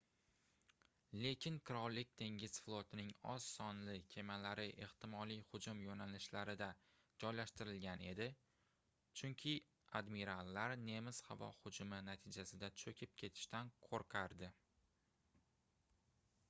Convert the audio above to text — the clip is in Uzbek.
lekin qirollik dengiz flotining oz sonli kemalari ehtimoliy hujum yoʻnalishlarida joylashtirilgan edi chunki admirallar nemis havo hujumi natijasida choʻkib ketishdan qoʻrqardi